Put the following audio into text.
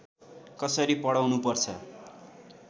कसरी पढाउनुपर्छ